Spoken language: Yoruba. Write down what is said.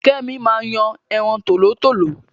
Kẹ́mi máa ń yan ẹran tòlótòló